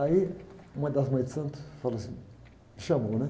Aí uma das mães de santo falou assim, me chamou, né?